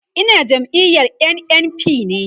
Ina jam'iyar NNPP ne